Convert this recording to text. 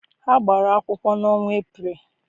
Ha gbara akwụkwọ n'ọnwa Eprel.